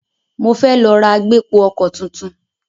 Mo fẹ́ lọ ra agbépo-ọkọ̀ tuntun.